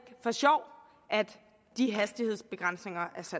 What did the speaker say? for sjov at de hastighedsbegrænsninger